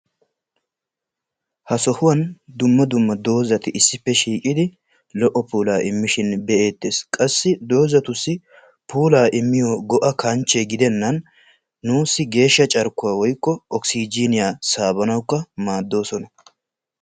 Ha sohuwaan dumma dumma doozzati issippe shiiqqidi lo"o puulaa immishin bee"ettees. qassi doozatussi puulaa immiyoo go'a kanche giidenan nuussi geeshsha carkkuwaa woykko okisijiniyaa saabanawukka maaddoosona.